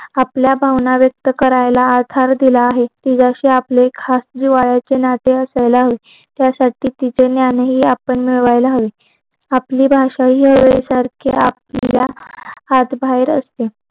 आपल्या भावना व्यक्त करायला आधार दिला आहे ती जशी आपले खास जो नातेवाईकला होईल त्या साठी तिथी ज्ञान आपण ध्यायला हवी आपली भाषा हि सारख्या आपल्या हात बाहेर असते